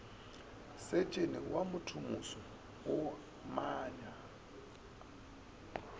setšene wa mothomoso a omanya